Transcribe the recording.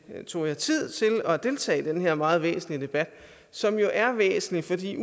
tog jer tid til at deltage i den her meget væsentlige debat som jo er væsentlig